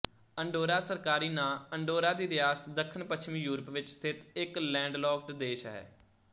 Andorra ਸਰਕਾਰੀ ਨਾਂ Andorra ਦੀ ਰਿਆਸਤ ਦੱਖਣਪੱਛਮੀ ਯੂਰਪ ਵਿੱਚ ਸਥਿਤ ਇੱਕ ਲੈਂਡਲੌਕਡ ਦੇਸ਼ ਹੈ